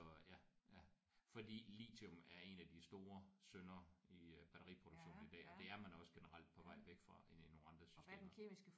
Fordi litium er en af de store syndere i batteriproduktionen i dag og det er man også generelt på vej væk fra i nogle andre systemer